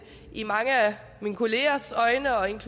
i mange af mine kollegers øjne øjne